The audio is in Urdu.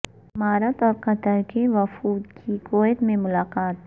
امارات اور قطر کے وفود کی کویت میں ملاقات